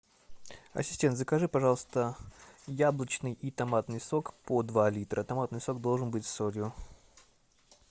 ассистент закажи пожалуйста яблочный и томатный сок по два литра томатный сок должен быть с солью